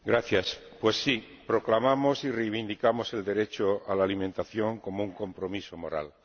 Señor Presidente, pues sí, proclamamos y reivindicamos el derecho a la alimentación como un compromiso moral.